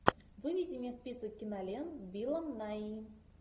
выведи мне список кинолент с биллом найи